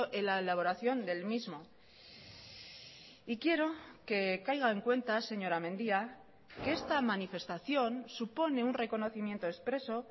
en la elaboración del mismo y quiero que caiga en cuenta señora mendía que esta manifestación supone un reconocimiento expreso